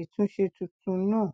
ìtúnṣe tuntun náà